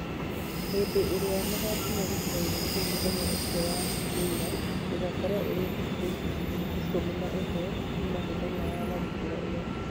Hĩndĩ ĩrĩa magakinya gĩcigo-inĩ kĩu mũthenya ũcio wa waĩrĩ, igakorwo irĩ thikũ ikũmi na ĩmwe Kuma mũthenya wa tharĩkĩro ĩyo